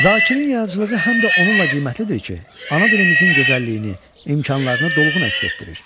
Zakirin yaradıcılığı həm də onunla qiymətlidir ki, ana dilimizin gözəlliyini, imkanlarını dolğun əks etdirir.